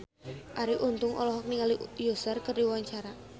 Arie Untung olohok ningali Usher keur diwawancara